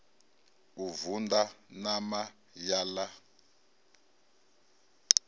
u vunḓa ṋama ya ḽa